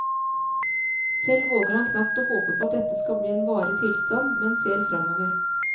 Selv våger han knapt å håpe på at dette skal bli en varig tilstand, men ser fremover.